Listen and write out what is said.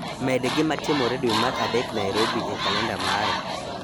Med gima timore dwe mar adek Nairobi e kalenda mara